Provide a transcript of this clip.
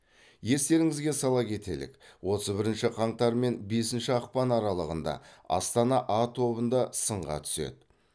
естеріңізге сала кетелік отыз бірінші қаңтар және бесінші ақпан аралығында астана а тобында сынға түседі